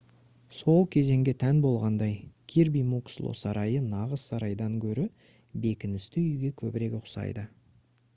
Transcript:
сол кезеңге тән болғандай кирби муксло сарайы нағыз сарайдан гөрі бекіністі үйге көбірек ұқсайды